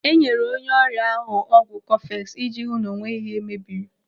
Enyere onye ọrịa ahu ọgwụ kọfeks iji hụ na o nweghị ihe mebiri.